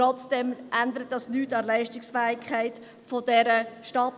Trotzdem ändert dies nichts an der Leistungsfähigkeit dieser Stadt.